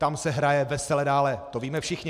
Tam se hraje vesele dále, to víme všichni.